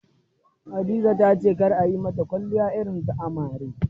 Hadiza ta ce kar a yi mata kwalliya irin ta amare.